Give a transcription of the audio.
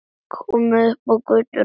Komin upp á götuna.